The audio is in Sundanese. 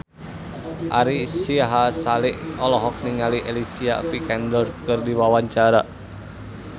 Ari Sihasale olohok ningali Alicia Vikander keur diwawancara